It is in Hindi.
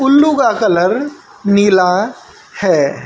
उल्लू का कलर नीला है।